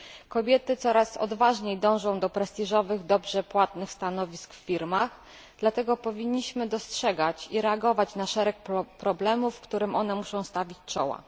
Kobiety coraz odważniej dążą do prestiżowych, dobrze płatnych stanowisk w firmach, dlatego powinniśmy dostrzegać i reagować na szereg problemów, którym muszą one stawić czoła.